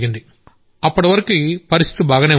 ఆ తర్వాత పరిస్థితి బాగానే ఉండేది